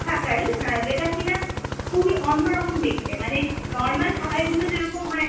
ঢাকাই, হ্যাঁ যেটা কিনা খুবই অন্নরকম দেখতে, মানে normal ঢাকাইগুলো যেরকম হয়